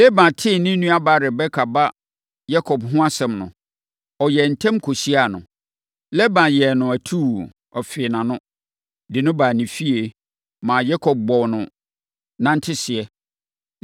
Laban tee ne nuabaa Rebeka ba Yakob ho asɛm no, ɔyɛɛ ntɛm kɔhyiaa no. Laban yɛɛ no atuu, fee nʼano, de no baa ne fie, maa Yakob bɔɔ no nʼananteseɛ.